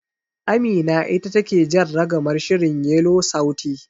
Amina ita take jan ragamar shirin Yelo sauti.